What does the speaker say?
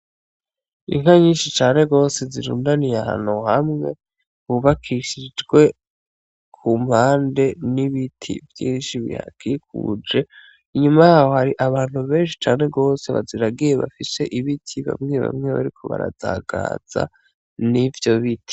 Inka nyinshi cane gose zirundaniye ahantu hamwe hubakishijwe ku mpande n'ibiti vyinshi bihakikuje, inyuma yaho hari abantu benshi cane gose baziragiye bafise ibiti, bamwe bamwe bariko barazagaza n'ivyo biti.